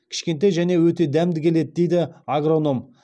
кішкентай және өте дәмді келеді дейді агроном